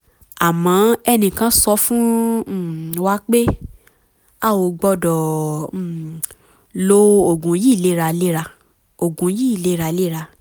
àmọ́ ẹnìkan sọ fún um wa pé a ò gbọ́dọ̀ um lo oògùn yìí léraléra oògùn yìí léraléra